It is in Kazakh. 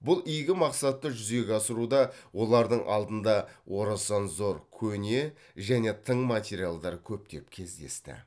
бұл игі мақсатты жүзеге асыруда олардың алдында орасан зор көне және тың материалдар көптеп кездесті